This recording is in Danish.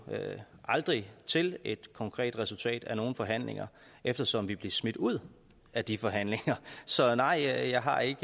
aldrig til et konkret resultat af nogen forhandlinger eftersom vi blev smidt ud af de forhandlinger så nej jeg jeg har ikke